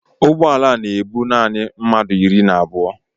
Ụgbọ ala a na-ebu naanị mmadụ iri na abụọ.